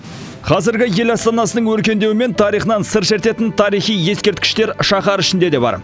қазіргі ел астанасының өркендеуі мен тарихынан сыр шертетін тарихи ескерткіштер шаһар ішінде де бар